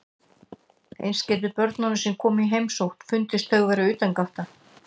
Eins getur börnunum sem koma í heimsókn fundist þau vera utangátta.